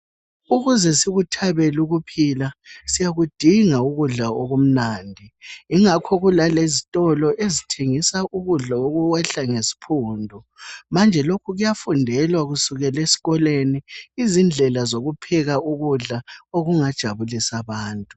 Ukuze sikuthabele ukuphila siyakudinga ukudla okumnandi. Yingakho kula lezitolo ezithengisa ukudla okuyehla ngesiphundu. Manje lokhu kuyafundelwa kusukela esikolweni izindlela zokupheka ukudla okungajabulisa abantu.